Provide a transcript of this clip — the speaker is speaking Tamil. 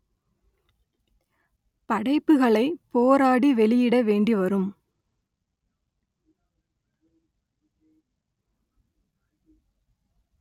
படைப்புகளை போராடி வெளியிட வேண்டி வரும்